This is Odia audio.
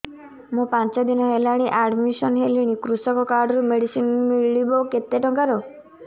ମୁ ପାଞ୍ଚ ଦିନ ହେଲାଣି ଆଡ୍ମିଶନ ହେଲିଣି କୃଷକ କାର୍ଡ ରୁ ମେଡିସିନ ମିଳିବ କେତେ ଟଙ୍କାର